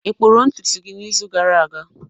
ị kpụrụ ntutu gị n'izu gara aga?